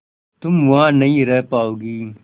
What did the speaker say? तुम वहां नहीं रह पाओगी